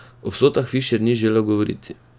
O vsotah Fišer ni želel govoriti.